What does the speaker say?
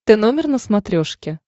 тномер на смотрешке